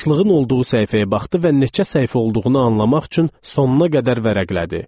Başlığın olduğu səhifəyə baxdı və neçə səhifə olduğunu anlamaq üçün sonuna qədər vərəqlədi.